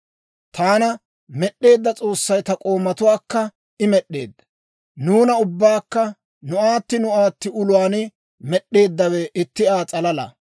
Taana med'd'eedda S'oossay ta k'oomatuwaakka I med'd'eedda. Nuuna ubbaakka nu aatti nu aatti uluwaan med'eeddawe itti Aa s'alala.